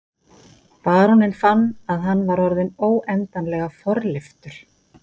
Baróninn fann að hann var orðinn óendanlega forlyftur.